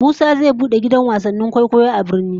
Musa zai bude gidan wasannin kwaikwayo a birni